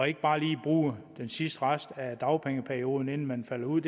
ikke bare lige bruger den sidste rest af dagpengeperioden inden man falder ud